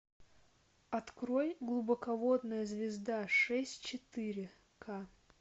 открой глубоководная звезда шесть четыре к